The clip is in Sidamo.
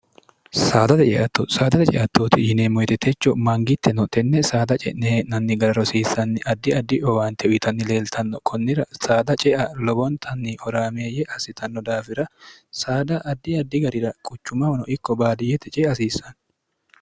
saadae ceatto saadaxe ceattooti yineemmoyitetecho maangitte no tenne saada ce'nehee'nanni gara rosiissanni addi addi owaante uyitanni leeltanno kunnira saada cea lobontanni oraameeyye assitanno daafira saada addi addi garira quchumamono ikko baadiyete ce hasiissanno